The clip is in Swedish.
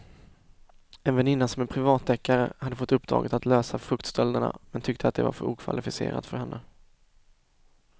En väninna som är privatdeckare hade fått uppdraget att lösa fruktstölderna men tyckte att det var för okvalificerat för henne.